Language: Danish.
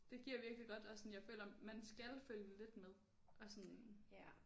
Det giver virkelig godt og sådan jeg føler man skal følge lidt med og sådan